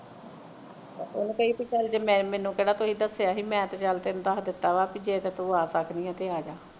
ਉਹਨੂੰ ਕਹੀਂ ਪੀ ਚਲ ਜੇ ਮੈਂ ਮੈਨੂੰ ਕਿਹੜਾ ਦਸਿਆ ਸੀ ਤੁਸੀਂ ਮੈਂ ਤੇ ਚਲ ਤੈਨੂੰ ਦਸ ਦਿਤਾ ਵਾ ਪੀ ਜੇ ਤੂੰ ਆਹ ਸਕਦੀਆਂ ਤੇ ਆਜਾ